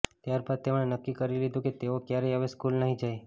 ત્યારબાદ તેમણે નક્કી કરી લીધુ કે તેઓ ક્યારેય હવે સ્કૂલ નહી જાય